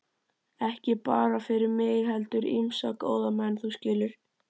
Ekki bara fyrir mig heldur ýmsa góða menn, þú skilur.